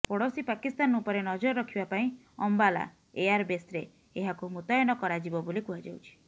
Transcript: ପଡୋଶୀ ପାକିସ୍ତାନ ଉପରେ ନଜର ରଖିବା ପାଇଁ ଅମ୍ବାଲା ଏୟାର ବେସ୍ରେ ଏହାକୁ ମୁତୟନ କରାଯିବ ବୋଲି କୁହାଯାଉଛି